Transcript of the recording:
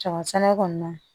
Kaba sɛnɛ kɔɔna na